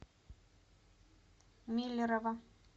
миллерово